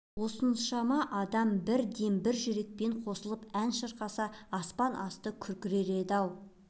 осыншама адам бір дем бір жүрекпен қосылып ән шырқаса аспан асты күркірер еді-ау